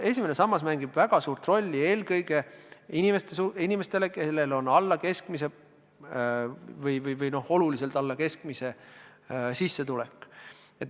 Esimene sammas mängib väga suurt rolli eelkõige inimeste puhul, kellel on olulisel määral alla keskmise sissetulek.